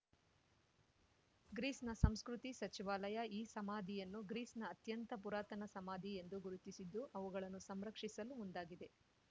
ಗ್ರೀಸ್‌ನ ಸಂಸ್ಕೃತಿ ಸಚಿವಾಲಯ ಈ ಸಮಾಧಿಯನ್ನು ಗ್ರೀಸ್‌ನ ಅತ್ಯಂತ ಪುರಾತನ ಸಮಾಧಿ ಎಂದು ಗುರುತಿಸಿದ್ದು ಅವುಗಳನ್ನು ಸಂರಕ್ಷಿಸಲು ಮುಂದಾಗಿದೆ